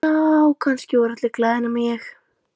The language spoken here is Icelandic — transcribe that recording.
Já, kannski voru allir glaðir nema ég.